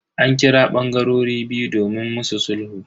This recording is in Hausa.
An kira bangarorin biyu domin musu sulhu.